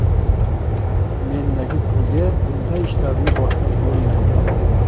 Mendagi pulga bunday ishlarni boshlab bo‘lmaydi.